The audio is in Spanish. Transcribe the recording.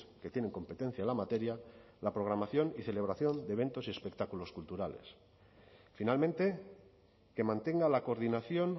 que tienen competencia en la materia la programación y celebración de eventos y espectáculos culturales finalmente que mantenga la coordinación